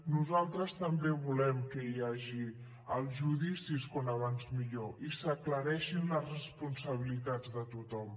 nosaltres també volem que hi hagi els judicis com abans millor i s’aclareixin les responsabilitats de tothom